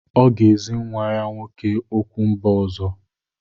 Ọ ga-ezi nwa ya nwoke okwu mba ọzọ.